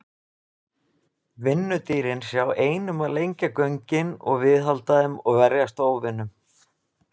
Vinnudýrin sjá ein um að lengja göngin og viðhalda þeim og verjast óvinum.